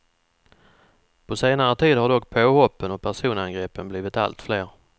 På senare tid har dock påhoppen och personangreppen blivit allt fler.